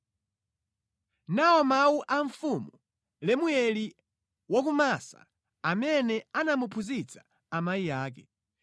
Nawa mawu a mfumu Lemueli wa ku Massa amene anamuphunzitsa amayi ake: